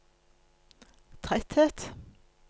tretthet